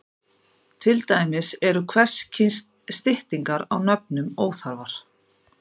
Til dæmis eru hvers kyns styttingar á nöfnum óþarfar.